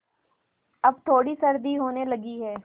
अब थोड़ी सर्दी होने लगी है